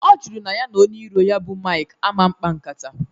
Ọ jụrụ na ya na onye iro ya bụ Maịk aman kpaa nkata